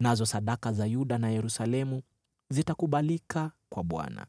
nazo sadaka za Yuda na Yerusalemu zitakubalika kwa Bwana ,